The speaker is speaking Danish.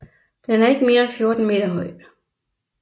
Den er ikke mere end 14 meter høj